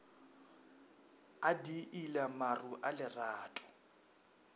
a diila maru a lerato